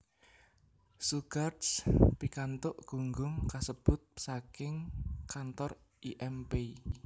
Shugarts pikantuk gunggung kasebut saking kantor I M Pei